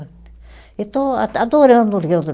E estou a adorando